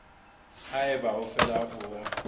ha eba o fela o